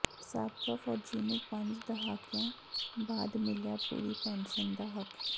ਸਾਬਕਾ ਫੌਜੀ ਨੂੰ ਪੰਜ ਦਹਾਕਿਆਂ ਬਾਅਦ ਮਿਲਿਆ ਪੂਰੀ ਪੈਨਸ਼ਨ ਦਾ ਹੱਕ